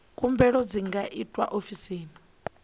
khumbelo dzi nga itwa ofisini